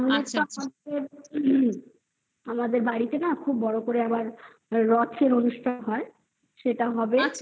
বাড়িতে না খুব বড় করে আবার রথের অনুষ্ঠান হয়. সেটা হবে